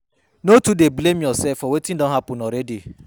No too dey blame urself for wetin don hapun already